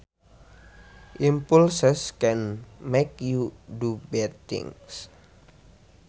Impulses can make you do bad things